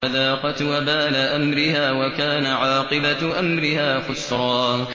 فَذَاقَتْ وَبَالَ أَمْرِهَا وَكَانَ عَاقِبَةُ أَمْرِهَا خُسْرًا